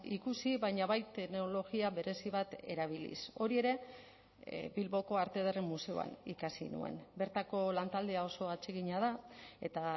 ikusi baina bai teknologia berezi bat erabiliz hori ere bilboko arte ederren museoan ikasi nuen bertako lantaldea oso atsegina da eta